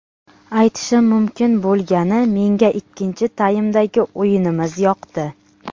Aytishim mumkin bo‘lgani menga ikkinchi taymdagi o‘yinimiz yoqdi.